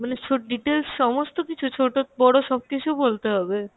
মানে details সমস্ত কিছু ছোটো বড়ো সব কিছু বলতে হবে?